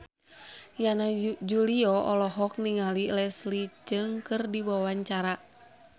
Yana Julio olohok ningali Leslie Cheung keur diwawancara